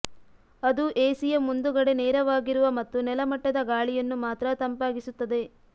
ಅದು ಎಸಿಯ ಮುಂದುಗಡೆ ನೇರವಾಗಿರುವ ಮತ್ತು ನೆಲ ಮಟ್ಟದ ಗಾಳಿಯನ್ನು ಮಾತ್ರ ತಂಪಾಗಿಸುತ್ತದೆ